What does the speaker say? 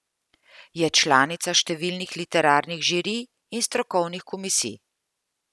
Je članica številnih literarnih žirij in strokovnih komisij.